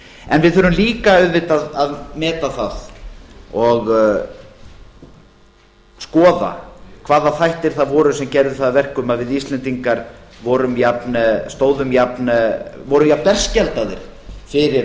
en við þurfum líka auðvitað að meta það og skoða hvaða þættir það voru sem gerðu það að verkum að við íslendingar vorum jafn berskjaldaðir fyrir